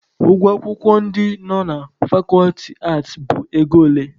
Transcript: Ụgwọ akwụkwọ ndị nọ ná fakọlti aatị bụ ego ole?